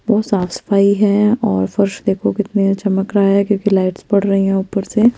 बोहोत साफ़ सफाई है और फर्श देखो कितना चमक रहा है क्युकी लाइट्स पद रही है ऊपर से --